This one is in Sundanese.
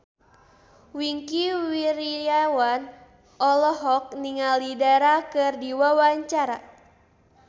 Wingky Wiryawan olohok ningali Dara keur diwawancara